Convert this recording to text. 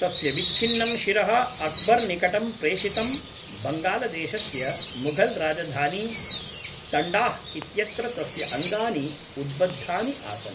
तस्य विच्छिन्नं शिरः अक्बर्निकटं प्रेषितम् बङ्गालदेशस्य मुघलराजधानी तण्डाह् इत्यत्र तस्य अङ्गानि उद्बद्धानि आसन्